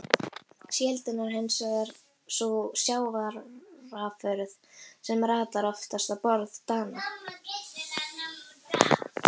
Síldin er hins vegar sú sjávarafurð sem ratar oftast á borð Dana.